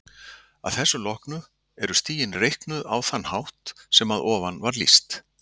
Að þessu loknu eru stigin reiknuð á þann hátt sem að ofan var lýst.